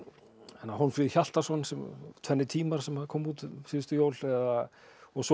Hólmfríði Hjaltason tvennir tímar sem kom út um síðustu jól svo